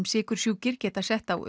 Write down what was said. sykursjúkir geta sett á